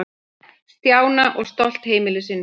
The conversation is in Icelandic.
Stjána og stolt heimilisins.